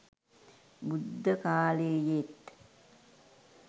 බුද්ධකාලයේත්